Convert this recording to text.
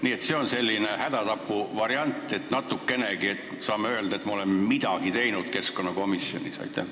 Nii et see on selline hädatapuvariant, et me saaks natukenegi öelda, et me oleme keskkonnakomisjonis midagi teinud.